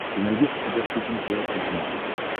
ты найдешь у себя шоппинг лайв на смотрешке